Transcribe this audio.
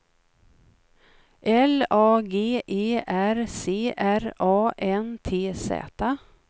L A G E R C R A N T Z